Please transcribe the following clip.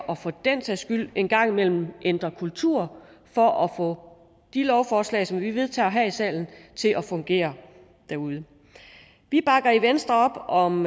og for den sags skyld en gang imellem ændre kultur for at få de lovforslag som vi vedtager her i salen til at fungere derude vi bakker i venstre op om